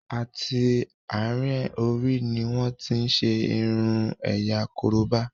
àti àrin Orí ní wón tin ṣe irun ẹ̀yà koroba.